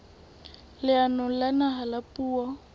leanong la naha la puo